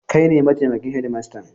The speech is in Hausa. Kai ne mataimakin shedimastan?